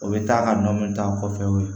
O bɛ taa ka nɔɔni ta kɔfɛ